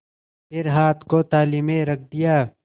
फिर हाथ को थाली में रख दिया